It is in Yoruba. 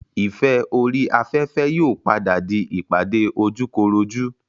ìfẹ́ orí afẹ́fẹ́ yóò padà di ìpàdé ojúkorojú